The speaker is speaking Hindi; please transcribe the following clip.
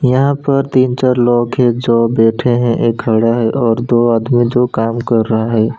यहां पर तीन चार लोग है जो बैठे हैं एक खड़ा है और दो आदमी जो काम कर रहा है।